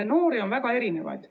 Noori on väga erinevaid.